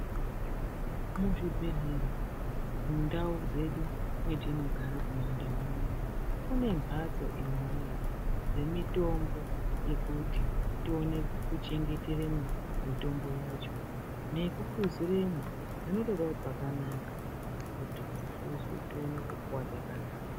Muzvibhedhlera mundau dzedu matinogara kumandau unono. Kune mhatso imi voye dzemitombo yekuti tione kuchengeteremwo mitombo yacho. Nekuhluziremwo panotodavo pakanaka kuti dzihluzwe tione kupuva dzakanaka.